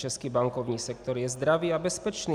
Český bankovní sektor je zdravý a bezpečný.